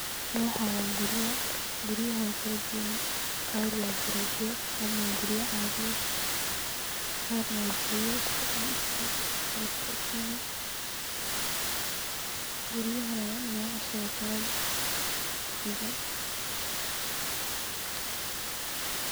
Waxan waa guriya ,guriyaha oo kala duwan qaar waa garoofiya ,qaarna waa guriya caadi yeh ,qaarna waa guriya lisku dhax dhise ,salafkontayni . Guriyahan na nocashood kala duwan.